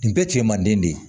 Nin bɛɛ cɛ manden de ye